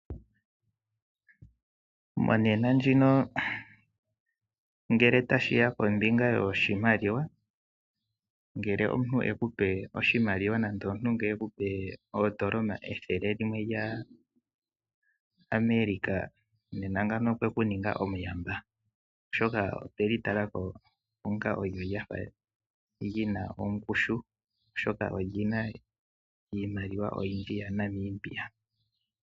Monena ndjino ngele tashi ya kombinga yoshimaliwa, ngele omuntu e ku pe oshimaliwa nande omuntu e ku pe oondola ethele limwe lya America, nena ngano okwe ku ninga omuyamba oshoka otwe li tala ko onga olyo lya fa li na ongushu oshoka olina iimaliwa oyindji yaNamibia.